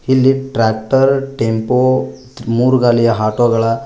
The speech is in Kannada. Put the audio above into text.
ಇಲ್ಲಿ ಟ್ರ್ಯಾಕ್ಟರ್ ಟೆಂಪೋ ಮೂರುಗಾಲಿಯ ಹಾಟೊಗಳ --